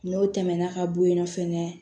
N'o tɛmɛna ka bo yen nɔ fɛnɛ